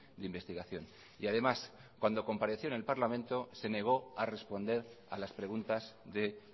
de investigación y además cuando compareció en el parlamento se negó a responder a las preguntas de